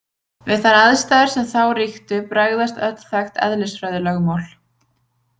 Við þær aðstæður sem þá ríktu bregðast öll þekkt eðlisfræðilögmál.